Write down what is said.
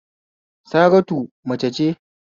Saratu mace ce